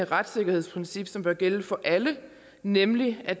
retssikkerhedsprincip som bør gælde for alle nemlig at